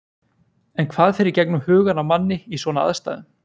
En hvað fer í gegnum hugann á manni í svona aðstæðum?